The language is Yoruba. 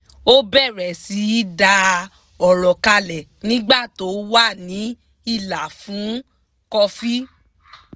ó bẹ̀rẹ̀ sí í dá ọ̀rọ̀ kalẹ̀ nígbà tó wà ní ìlà fún kọfí